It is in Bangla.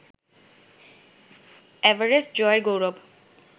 এভারেস্ট জয়ের গৌরব